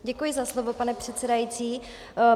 Děkuji za slovo, pane předsedající.